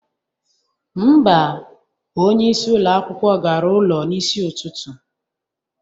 Mba, onyeisi ụlọ akwụkwọ gara ụlọ n'isi ụtụtụ